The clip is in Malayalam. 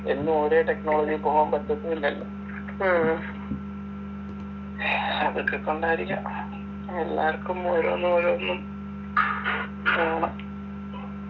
എന്നും ഒരേ technology ൽ പോകാൻ പറ്റത്തും ഇല്ലല്ലോ അതൊക്കെക്കൊണ്ടായിരിക്കാം എല്ലാര്ക്കും ഓരോന്നോരോന്നും വേണം